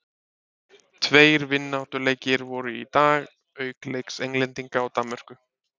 Tveir vináttulandsleikir voru í dag auk leiks Englendinga og Danmörku.